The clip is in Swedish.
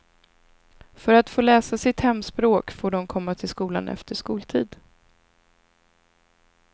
För att få läsa sitt hemspråk får de komma till skolan efter skoltid.